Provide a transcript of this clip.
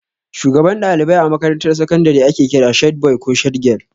Shugaban ɗalibai a makarantar sakandire ake kira shed boi ko shed gyal